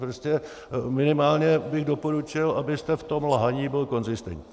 Prostě minimálně bych doporučil, abyste v tom lhaní byl konzistentní.